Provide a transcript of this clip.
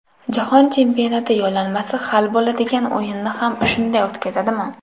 Jahon chempionati yo‘llanmasi hal bo‘ladigan o‘yinni ham shunday o‘tkazadimi?